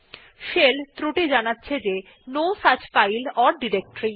shell ত্রুটি জানাচ্ছে যে no such file or directory